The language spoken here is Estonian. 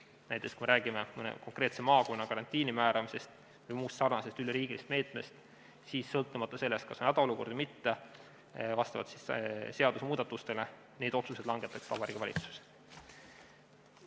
Näiteks, kui me räägime mõne konkreetse maakonna karantiini määramisest või muust sarnasest üleriigilisest meetmest, siis sõltumata sellest, kas on hädaolukord või mitte, langetaks vastavalt seadusemuudatustele neid otsuseid Vabariigi Valitsus.